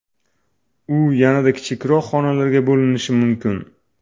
U yanada kichikroq xonalarga bo‘linishi mumkin.